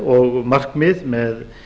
og markmið með